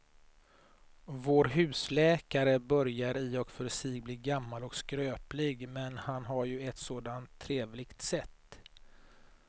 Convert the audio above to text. Vår husläkare börjar i och för sig bli gammal och skröplig, men han har ju ett sådant trevligt sätt!